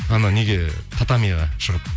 анау неге шығып